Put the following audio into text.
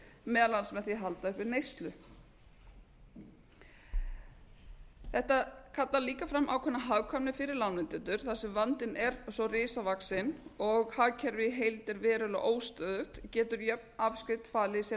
meðal annars með því að halda uppi neyslu þetta kallar líka fram ákveðna hagkvæmni fyrir lánveitendur þar sem vandinn er svo risavaxinn og hagkerfið í heild er verulega óstöðugt getur jöfn afskrift falið í sér